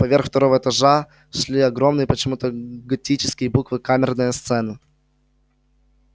поверх второго этажа шли огромные почему-то готические буквы камерная сцена